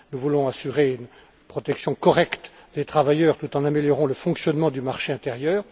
Nous voulons assurer une protection correcte des travailleurs tout en améliorant le fonctionnement du marché intérieur.